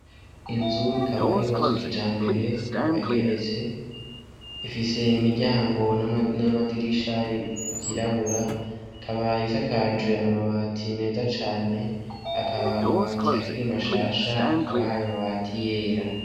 Inzu ikaba yubatse kijambere ,ikaba igeretse, ifise imiryango n'amadirisha vyirabura , ikaba isakajwe amabati meza cane , akaba amabati akiri mashasha , akaba ayo mabati yera.